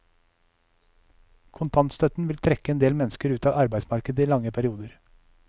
Kontantstøtten vil trekke endel mennesker ut av arbeidsmarkedet i lange perioder.